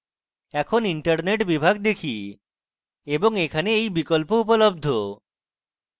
এখন internet বিভাগ দেখি এবং এখানে এই বিকল্প উপলব্ধ